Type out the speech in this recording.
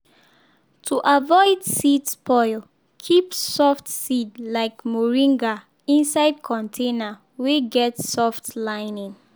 to avoid seed spoil keep soft seed like moringa inside container wey get soft lining.